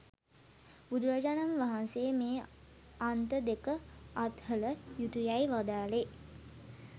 බුදුරජාණන් වහන්සේ මේ අන්ත දෙක අත්හළ යුතුයැයි වදාළේ